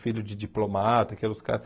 Filho de diplomata, aqueles caras.